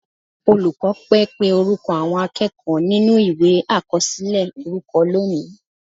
Olùkọ́ pẹ́ pé orúkọ àwọn akẹ́kọ̀ọ́ nínú Ìwé àkọsílẹ̀ orúkọ lónìí